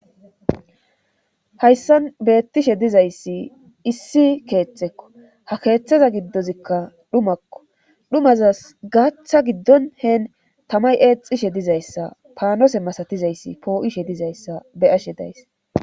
Hayssan beettishe dizayssi issi keetxekko ha keeththeza giddozikka dhumakko dhumazas gaaththa giddon heen tamay eexishe dizayssa paanose masatizayssi poo7ishe dizayssa be ashe days